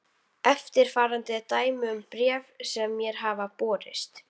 Eftirfarandi er dæmi um bréf sem mér hafa borist